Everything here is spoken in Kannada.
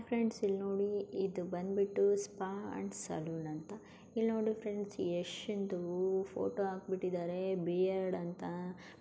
ಫ್ರೆಂಡ್ಸ್ ಇಲ್ನೋಡಿ ಇದು ಬಂದ್ಬಿಟ್ಟು ಸ್ಪಾ ಅಂಡ್ ಸಲೂನ್ ಅಂತ. ಇಲ್ನೋಡಿ ಫ್ರೆಂಡ್ಸ್ ಯಶ್ಶಿಂದೂ ಫೋಟೋ ಹಾಕ್ಬಿಟ್ಟಿದಾರೆ. ಬಿಯರ್ಡ್ ಅಂತ .